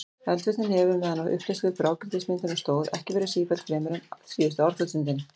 Eldvirknin hefur, meðan á upphleðslu blágrýtismyndunarinnar stóð, ekki verið sífelld fremur en síðustu árþúsundin.